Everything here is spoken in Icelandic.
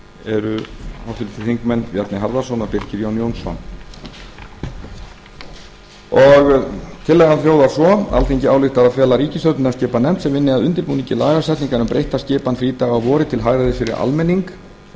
eru háttvirtir þingmenn bjarni harðarson og birkir jón jónsson tillagan hljóðar svo alþingi ályktar að fela ríkisstjórninni að skipa nefnd sem vinni að undirbúningi lagasetningar um breytta skipan frídaga að vori til hagræðis fyrir almenning og